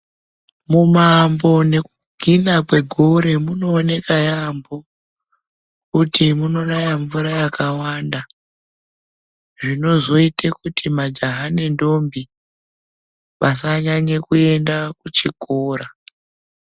Mumaambo nekugina kwegore munooneka yaambo, kuti munonaya mvura yakawanda. Zvinozoite kuti majaha nendombi vasanyanye kuenda kuchikora.